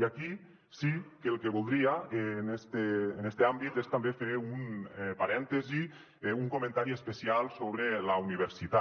i aquí sí que el que voldria en este àmbit és també fer un parèntesi un comentari especial sobre la universitat